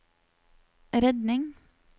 redning